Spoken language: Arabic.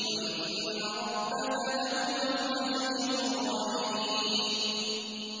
وَإِنَّ رَبَّكَ لَهُوَ الْعَزِيزُ الرَّحِيمُ